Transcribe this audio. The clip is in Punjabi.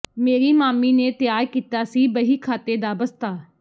ਮੇਰੀ ਮਾਮੀ ਨੇ ਤਿਆਰ ਕੀਤਾ ਸੀ ਬਹੀ ਖਾਤੇ ਦਾ ਬਸਤਾ